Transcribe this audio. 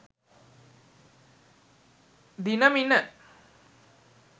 dinamina